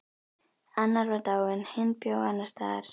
Annar var dáinn, hinn bjó annars staðar.